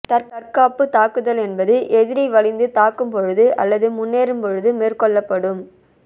தற்காப்புத் தாக்குதல் என்பது எதிரி வலிந்து தாக்கும்பொழுது அல்லது முன்னேறும் பொழுது மேற்கொள்ளப்படும்